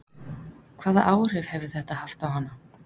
Hvaða áhrif hefur þetta haft á hana?